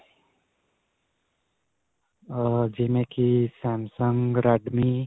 ਅਅ ਜਿਵੇਂ ਕਿ samsumg, redmi.